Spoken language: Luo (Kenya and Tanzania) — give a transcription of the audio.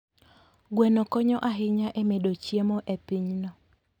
Gweno konyo ahinya e medo chiemo e pinyno.